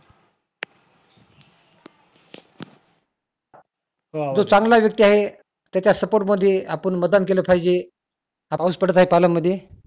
जो चांगला व्यक्ती आहे त्याच्या support मध्ये आपण मतदान केलं पाहिजे पाऊस पडत आहे पालन मध्ये